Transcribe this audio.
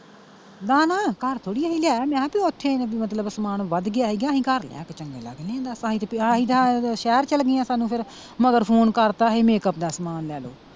ਨਾ ਨਾ ਘਰ ਥੋੜਾ ਸੀ ਲਿਆਇਆ ਮੈਂ ਕਿਹਾ ਬੀ ਓਥੇ ਮਤਲਬ ਸਮਾਨ ਵੱਧ ਗਿਆ ਸੀਗਾ ਅਸੀਂ ਘਰ ਲਿਆ ਕੇ ਚੰਗੇ ਲੱਗਣੇ ਆ ਦਸ ਅਸੀਂ ਤਾਂ ਸ਼ਹਿਰ ਚਲਗੇ ਆ ਸਾਨੂੰ ਫਿਰ ਮਗਰ phone ਕਰਤਾ ਅਹੇ makeup ਦਾ ਸਮਾਨ ਲੈ ਲੋ।